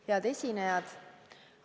Head esinejad!